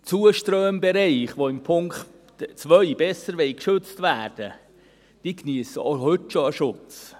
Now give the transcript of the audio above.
Die Zuströmbereiche, die mit dem Punkt 2 besser geschützt werden sollen, geniessen auch heute schon einen Schutz.